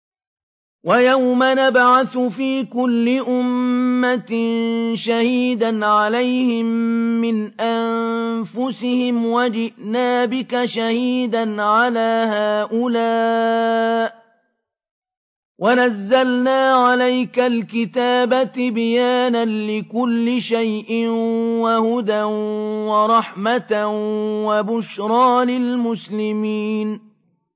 وَيَوْمَ نَبْعَثُ فِي كُلِّ أُمَّةٍ شَهِيدًا عَلَيْهِم مِّنْ أَنفُسِهِمْ ۖ وَجِئْنَا بِكَ شَهِيدًا عَلَىٰ هَٰؤُلَاءِ ۚ وَنَزَّلْنَا عَلَيْكَ الْكِتَابَ تِبْيَانًا لِّكُلِّ شَيْءٍ وَهُدًى وَرَحْمَةً وَبُشْرَىٰ لِلْمُسْلِمِينَ